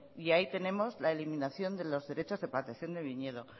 y ahí tenemos la eliminación de los derecho de plantación de viñedo